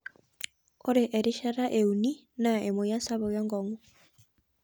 Ore erishata euni naa emoyian sapuk enkongu.